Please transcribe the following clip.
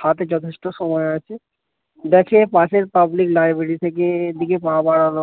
হাতে যথেষ্ট সময় আছে দেখে পাশের পাবলিক লাইব্রেরী থেকে এদিকে পা বাড়ালো